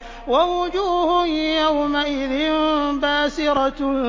وَوُجُوهٌ يَوْمَئِذٍ بَاسِرَةٌ